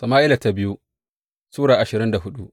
biyu Sama’ila Sura ashirin da hudu